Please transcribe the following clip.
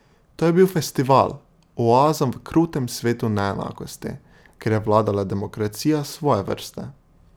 To je bil festival, oaza v krutem svetu neenakosti, kjer je vladala demokracija svoje vrste.